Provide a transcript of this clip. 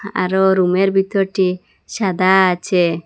আরো রুম -এর ভিতরটি সাদা আচে।